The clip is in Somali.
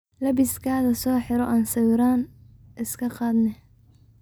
Labizkadha soxiro aan sawiran iskaqadhnex.